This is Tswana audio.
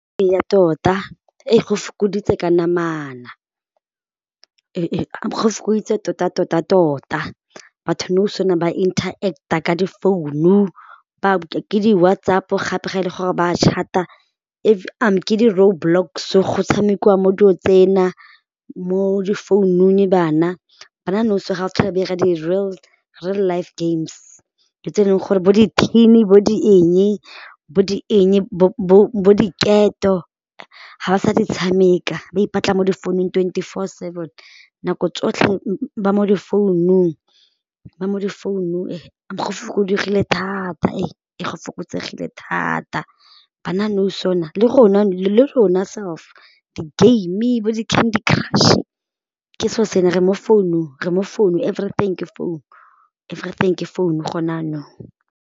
Eya tota go fokoditse ka namana, go fokoditse tota-tota-tota batho nou ba interact-a ka difounu ke di-WhatsApp gape ga e le gore ba chat-a ke di road blocks go tshamekiwa mo dilong tsena mo di founung bana, bana nou so ga ba sa tlhole ba 'ira di real, real life games dilo tse e leng gore bo dithini bo di eng bo di eng bo diketo ga ba sa di tshameka ba ipatla mo di founung twenty four seven nako tsotlhe ba mo di founung ba mo difounung go thata go fokotsegile thata bana nou le le rona self di game bo di candy crush ke seo se ne re mo founung re mo founu everything ke founu everything ke gone jaanong.